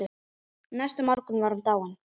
Næsta morgun var hún dáin.